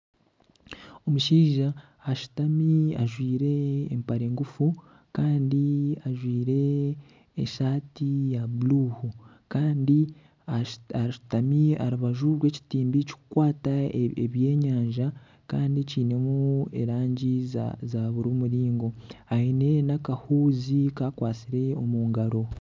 Omushaija ashutami ajwaire empare ngufu kandi ajwaire esaati ya buru Kandi ashutami aharubaju rw'ekitimba ekiri kukwata ebyenyanja kandi kinemu erangi za buri muringo. Aine n'akahuuzi ka akwatsire omungaro.